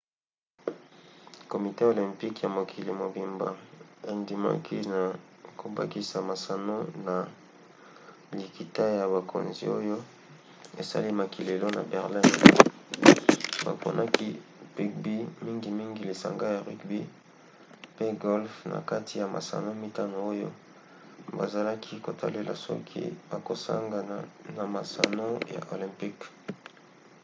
komite olympique ya mokili mobimba endimaki na kobakisa masano na likita ya bakonzi oyo esalemaki lelo na berlin. baponaki bugby mingimingi lisanga ya rugby pe golfe na kati ya masano mitano oyo bazalaki kotalela soki bakosangana na masano ya olympique